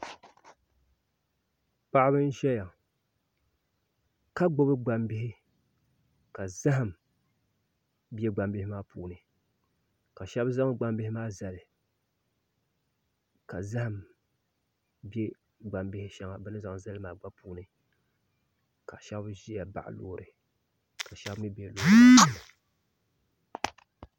Paɣaba n ʒɛya ŋɔ ka gbubi gbambihi ka zaham bɛ gbambihi maa puuni ka shab zaŋ gbambihi maa zali ka zaham bɛ gbambihi shɛŋa bi ni zaŋ zali maa puuni ka shab ʒiya baɣa loori ka shab mii bɛ loori puuni